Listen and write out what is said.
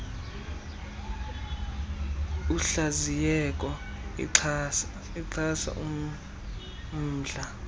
uhlaziyeko ixhasa ummndla